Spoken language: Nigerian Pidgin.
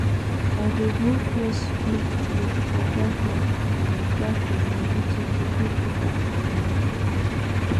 i dey grow fresh leafleaf for back of my back of my kitchen to cook better food for my people